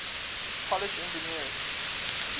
polish engineers